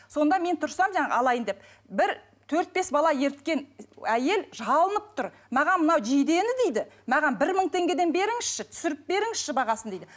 сонда мен тұрсам алайын деп бір төрт бес бала еріткен әйел жалынып тұр маған мынау жидені дейді маған бір мың теңгеден беріңізші түсіріп беріңізші бағасын дейді